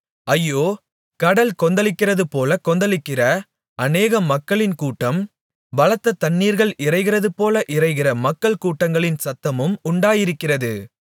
ஐயோ கடல்கள் கொந்தளிக்கிறதுபோல கொந்தளிக்கிற அநேக மக்களின் கூட்டம் பலத்த தண்ணீர்கள் இரைகிறதுபோல இரைகிற மக்கள் கூட்டங்களின் சத்தமும் உண்டாயிருக்கிறது